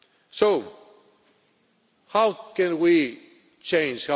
So, how can we change?